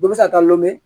Dɔ bɛ se ka taa lɔn